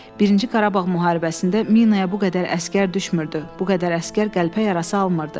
Birinci Qarabağ müharibəsində minaya bu qədər əsgər düşmürdü, bu qədər əsgər qəlpə yarası almırdı.